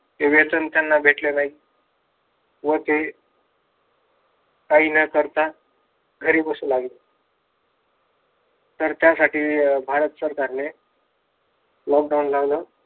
ते वेतन त्यांना भेटल नाही. व ते काही न करता घरी बसू लागले. तर त्या साठी भारत सरकारने. lockdown लावल.